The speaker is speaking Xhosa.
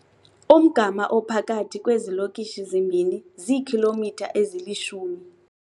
Umgama ophakathi kwezilokishi zimbini ziikhilomitha ezilishumi.